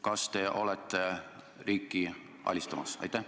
Kas te olete riiki alistamas?